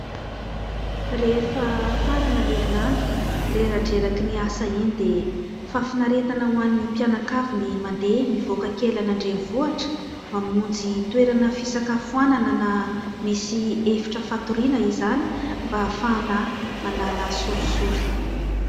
Rehefa mifarana ny herinandro, reradreraky ny asa iny dia fahafinaretana ho an'ny mpianakavy ny mandeha mivoaka kely any an-drenivohitra, mamonjy toerana fisakafoanana na misy efitra fatoriana izany mba hahafahana manala sorisory.